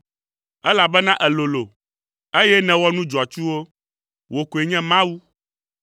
Elabena èlolo, eye nèwɔ nu dzɔatsuwo; wò koe nye Mawu.